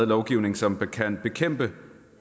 lovgivning som kan bekæmpe